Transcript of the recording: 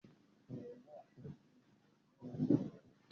Báyọ̀ fẹ́ ra àkàrà